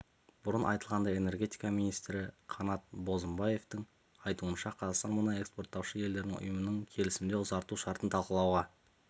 бұрын айтылғандай энергетика минситрі қанат бозымбаевтың айтуынша қазақстан мұнай экспорттаушы елдер ұйымының келісімді ұзарту шартын талқылауға